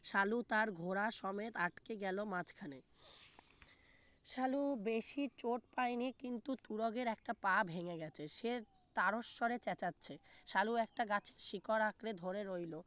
সালু তার ঘোড়া সমেত আটকে গেল মাঝখানে সালু বেশি চোট পাইনি কিন্তু তুরগের একটা পা ভেঙে গেছে সে তারো শ্বরে চেঁচাচ্ছে সালু একটা গাছের শিকড় আঁকড়ে ধরে রইল